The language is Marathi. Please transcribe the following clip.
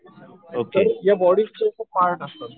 तर या बॉडीज चे तीन पार्ट असतात.